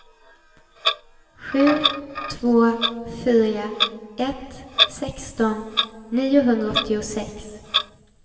sju två fyra ett sexton niohundraåttiosex